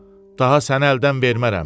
Daha səni əldən vermərəm.